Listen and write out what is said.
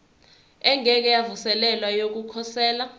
engeke yavuselelwa yokukhosela